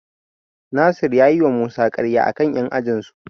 Nasir ya yiwa Musa karya a kan 'yan ajinsu.